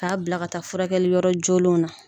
K'a bila ka taa furakɛli yɔrɔ jolilenw na